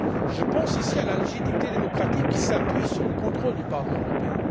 Je pense ici à la légitimité démocratique qui s'appuie sur le contrôle du Parlement européen.